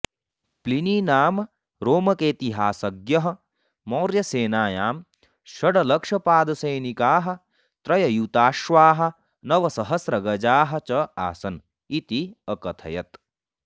Pliny नाम रोमकेतिहासज्ञः मौर्यसेनायां षड्लक्षपादसैनिकाः त्र्ययुताश्वाः नवसहस्रगजाः च आसन् इति अकथयत्